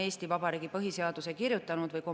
Eesti Vabariigi seadustes seda lahti kirjutatud ei ole.